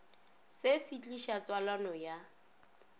se se tliša tswalano ya